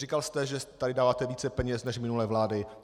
Říkal jste, že tak dáváte více peněz než minulé vlády.